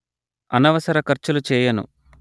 అనవసర ఖర్చులు చేయను